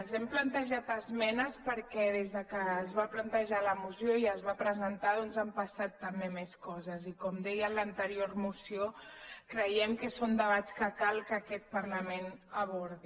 hem plantejat esmenes perquè des que es va plantejar la moció i es va presen·tar doncs han passat també més coses i com deia en l’anterior moció creiem que són debats que cal que aquest parlament abordi